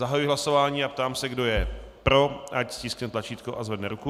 Zahajuji hlasování a ptám se, kdo je pro, ať stiskne tlačítko a zvedne ruku.